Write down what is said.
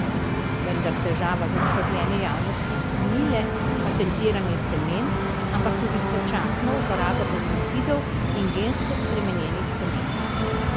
Vendar težava zaskrbljene javnosti ni le patentiranje semen, ampak tudi sočasna uporaba pesticidov in gensko spremenjenih semen.